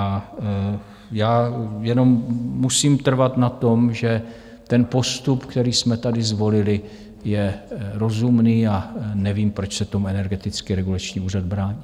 A já jenom musím trvat na tom, že ten postup, který jsme tady zvolili, je rozumný, a nevím, proč se tomu Energetický regulační úřad brání.